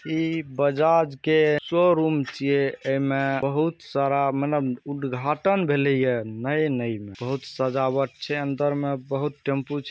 इ बजाज के शोरूम छीये एमें बहुत सारा मतलब उदघाटन भेले ये नए नई में बहुत सजावट छै अंदर में बहुत टेम्पू छै।